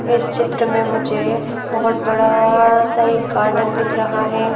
इस चित्र में मुझे बहुत बड़ा सा एक गार्डन दिख रहा है।